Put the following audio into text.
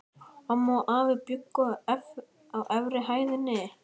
Amma og afi bjuggu á efri hæðinni.